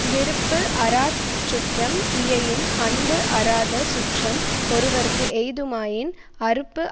விருப்பு அறாச் சுற்றம் இயையின் அன்பு அறாத சுற்றம் ஒருவற்கு எய்துமாயின் அருப்பு